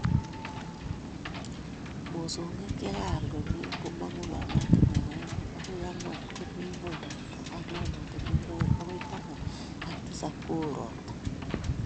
Mosongik che kaai komye komong'u lolotinwek oeng agoi ang'wan komii ng'uny robta ak lolotinwek oeng agoi taman ak tisab kooo ropta